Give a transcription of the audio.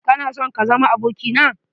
Kana sonm kazama abokina?